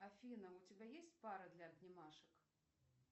афина у тебя есть пара для обнимашек